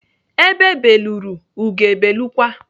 Ebe belụrụ, ugo ebelụkwa.